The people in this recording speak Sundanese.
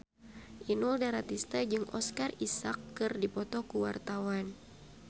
Inul Daratista jeung Oscar Isaac keur dipoto ku wartawan